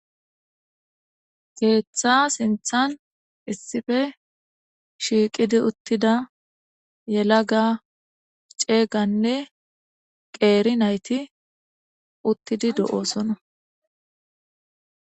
geeththa sinthan issife shiiqidi uttida yela ga ceeganne qeeri nayti uttidi do7oosona